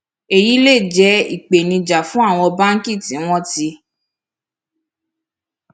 èyí lè jé ìpèníjà fún àwọn báńkì tí wón ti